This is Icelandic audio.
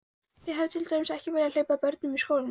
Þið hafið til dæmis ekki viljað hleypa börnunum í skólann?